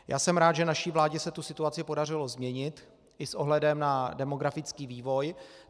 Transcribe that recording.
Já jsem rád, že naší vládě se tu situaci podařilo změnit i s ohledem na demografický vývoj.